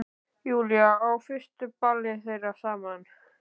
Júlíu á fyrsta ballið þeirra saman.